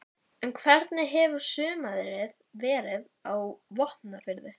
Tíðni vinnuslysa er mest í byggingariðnaði og við verklegar framkvæmdir.